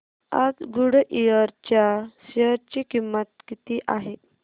आज गुडइयर च्या शेअर ची किंमत किती आहे